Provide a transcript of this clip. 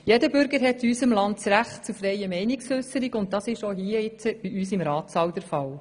Jeder Bürger hat in unserem Land das Recht auf freie Meinungsäusserung, und das ist auch hier bei uns im Ratssaal der Fall.